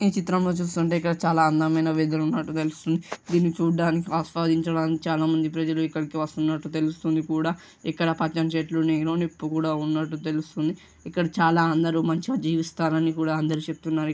చిత్రంలో చూస్తుంటే అక్కడ చాలా అందమైన వెదర్ ఉన్నట్టు తెలుస్తుంది .దిన్ని చూడడానికి ఆస్వాదించడానికి చాలామంది ప్రజలు ఇక్కడికి వస్తున్నట్లు తెలుస్తోంది. కూడా ఇక్కడ పద్ధెనిమిది చెట్లు నీళ్లు నిప్పు కూడా ఉన్నట్టు తెలుస్తుంది .ఇక్కడ చాలా అందరూ మంచిగా జీవిస్తారని కూడా అందరూ చెప్తున్నారు.